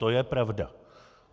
To je pravda.